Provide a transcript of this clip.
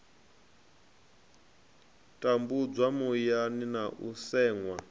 tambudzwa muyani na u seṅwa